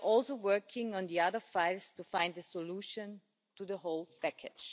We are also working on the other files to find a solution to the whole package.